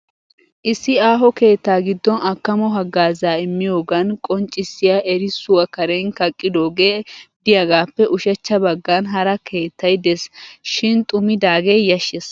Issi aaho keettaa giddon akkamo hagaazaa imiyogaadan qonccissiya erissuwa karen kaqqidoogee diyagaappe ushshachcha baggan hara keettay des. Shin xumidaagee yashshes.